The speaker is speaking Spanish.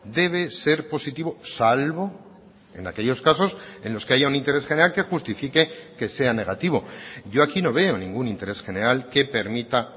debe ser positivo salvo en aquellos casos en los que haya un interés general que justifique que sea negativo yo aquí no veo ningún interés general que permita